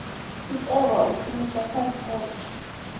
itelwa u shumiswa kha risetshe